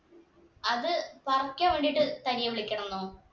അത് പറിക്കാൻ വേണ്ടീട്ട് തനിയെ വിളിക്കണം ന്നോ